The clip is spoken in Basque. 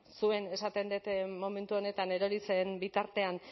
zuen esaten dut momentu honetan erori zen bitartean